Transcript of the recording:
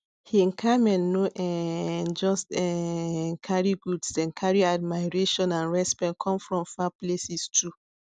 hin camel no um just um carry goods dem carry admiration and respect come from far places too